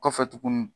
Kɔfɛ tuguni